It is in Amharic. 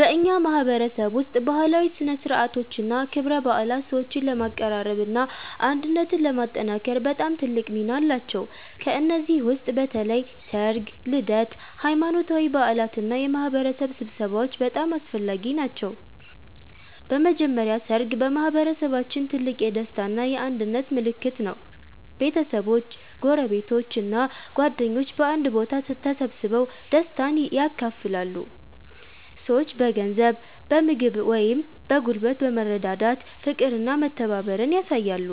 በእኛ ማህበረሰብ ውስጥ ባህላዊ ሥነ ሥርዓቶችና ክብረ በዓላት ሰዎችን ለማቀራረብና አንድነትን ለማጠናከር በጣም ትልቅ ሚና አላቸው። ከእነዚህ ውስጥ በተለይ ሠርግ፣ ልደት፣ ሃይማኖታዊ በዓላት እና የማህበረሰብ ስብሰባዎች በጣም አስፈላጊ ናቸው። በመጀመሪያ ሠርግ በማህበረሰባችን ትልቅ የደስታ እና የአንድነት ምልክት ነው። ቤተሰቦች፣ ጎረቤቶች እና ጓደኞች በአንድ ቦታ ተሰብስበው ደስታን ያካፍላሉ። ሰዎች በገንዘብ፣ በምግብ ወይም በጉልበት በመረዳዳት ፍቅርና መተባበርን ያሳያሉ።